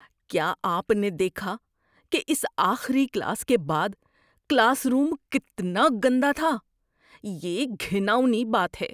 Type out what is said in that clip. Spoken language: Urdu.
کیا آپ نے دیکھا کہ اس آخری کلاس کے بعد کلاس روم کتنا گندا تھا؟ یہ گھناؤنی بات ہے۔